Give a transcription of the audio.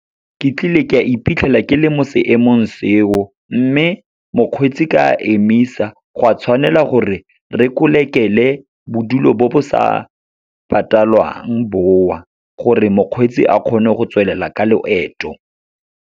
Ke tlile ka iphitlhela ke le mo seemong seo, mme mokgweetsi ka emisa. Go a tshwanela gore re kolekela bodulo bo bo sa patalwang bo o, gore mokgweetsi a kgone go tswelela ka loeto.